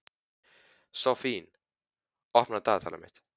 Sophie, opnaðu dagatalið mitt.